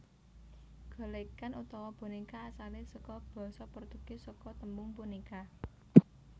Golèkan utawa bonéka asalé saka basa Portugis saka tembung boneca